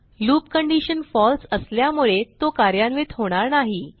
loop condition फळसे असल्यामुळे तो कार्यान्वित होणार नाही